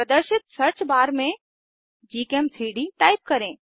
प्रदर्शित search bar में gchem3डी टाइप करें